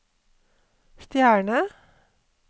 stjerne